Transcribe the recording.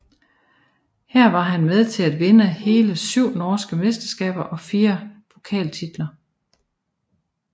Her var han med til at vinde hele syv norske mesterskaber og fire pokaltitler